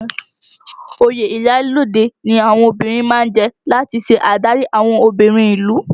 Oyè iyalode ni àwọn obìnrin má ń jẹ láti ṣe adarí àwọn obìnrin ìlú